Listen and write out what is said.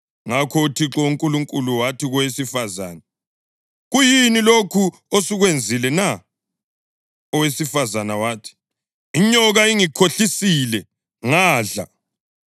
Ngakho uThixo uNkulunkulu wathi kowesifazane, “Kuyini lokhu osukwenzile na?” Owesifazane wathi, “Inyoka ingikhohlisile, ngadla.”